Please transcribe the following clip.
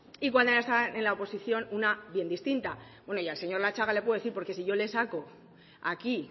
y cuando estaban en la oposición una bien distinta y bueno al señor latxaga le puedo decir porque si yo le saco aquí